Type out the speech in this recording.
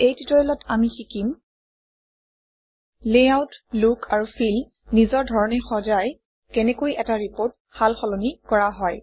এই টিউটৰিয়েলত আমি শিকিম লেআউট লুক আৰু ফিল নিজৰ ধৰণে সজাই কেনেকৈ এটা ৰিপৰ্ট সাল সলনি কৰা হয়